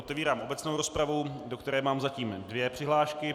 Otevírám obecnou rozpravu, do které mám zatím dvě přihlášky.